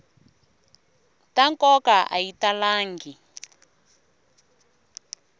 ta nkoka a yi talangi